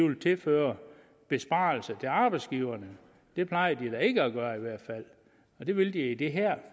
vil tilføre besparelser til arbejdsgiverne det plejer de da ikke at gøre det vil de i det her